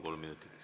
Kolm minutit.